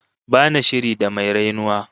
Ba na shiri da mai rainuwa